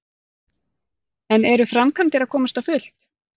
En eru framkvæmdir að komast á fullt?